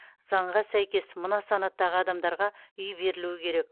заңға сәйкес мына санаттағы адамдарға үй берілуі керек